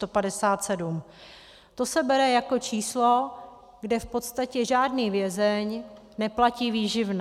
To se bere jako číslo, kde v podstatě žádný vězeň neplatí výživné.